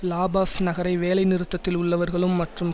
லா Paz நகரை வேலை நிறுத்தத்தில் உள்ளவர்களும் மற்றும்